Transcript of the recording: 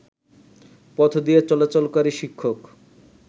পথদিয়ে চলাচলকারী শিক্ষক